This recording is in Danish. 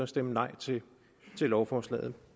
stemme nej til lovforslaget